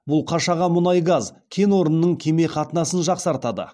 бұл қашаған мұнай газ кен орнының кеме қатынасын жақсартады